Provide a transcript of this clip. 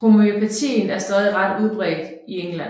Homøopatien er stadig ret udbredt i England